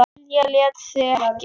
Lilja lét sig ekki.